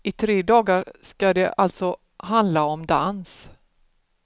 I tre dagar skall det alltså handla om dans.